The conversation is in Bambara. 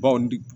Bawo nin